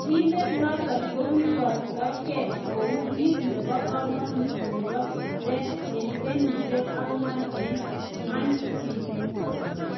Birindet noton kokiborto kee kou kiit nebo kamanuut nebo Reds en kenyisiek agwan en Anfied